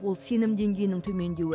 ол сенім деңгейінің төмендеуі